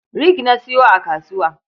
Rig na sayo a kasuwa.